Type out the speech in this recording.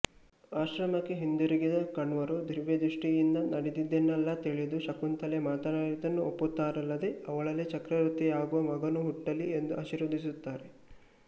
ಆಶ್ರಮಕ್ಕೆ ಹಿಂದಿರುಗಿದ ಕಣ್ವರು ದಿವ್ಯದೃಷ್ಟಿಯಿಂದ ನಡೆದದನ್ನೆಲ್ಲಾ ತಿಳಿದು ಶಕುಂತಲೆ ಮಾಡಿದ್ದನ್ನು ಒಪ್ಪುತ್ತಾರಲ್ಲದೆ ಅವಳಲ್ಲಿ ಚಕ್ರವರ್ತಿಯಾಗುವ ಮಗನು ಹುಟ್ಟಲಿ ಎಂದು ಆಶೀರ್ವದಿಸುತ್ತಾರೆ